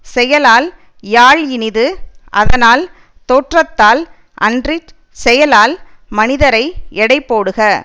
செயலால் யாழ் இனிது அதனால் தோற்றத்தால் அன்றிச் செயலால் மனிதரை எடை போடுக